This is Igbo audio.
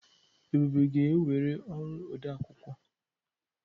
Ebube ga-ewere ọrụ odeakwụkwọ.